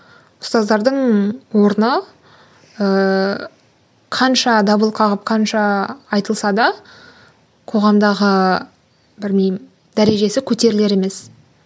ұстаздардың орны ыыы қанша дабыл қағып қанша айтылса да қоғамдағы білмеймін дәрежесі көтерілер емес